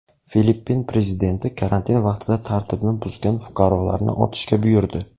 Filippin prezidenti karantin vaqtida tartibni buzgan fuqarolarni otishga buyurdi.